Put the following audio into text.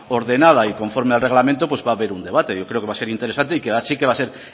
ordenada y conforme al reglamento pues va a ver un debate yo creo que va a ser interesante y que sí que va a ser